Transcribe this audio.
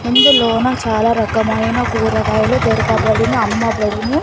ఇందులోనా చాలా రకమైన కూరగాయలు దొరకబడును అమ్మబడును.